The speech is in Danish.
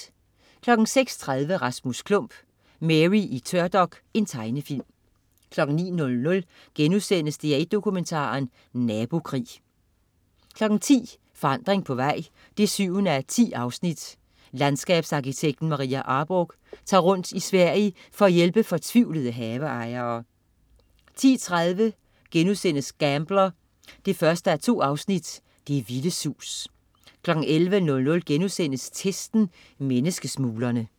06.30 Rasmus Klump. Mary i tørdok. Tegnefilm 09.00 DR1 Dokumentaren. Nabokrig* 10.00 Forandring på vej 7:10. Landskabsarkitekten Maria Arborgh tager rundt i Sverige for at hjælpe fortvivlede haveejere 10.30 Gambler 1:2. Det vilde sus* 11.00 Testen. Menneskesmuglerne*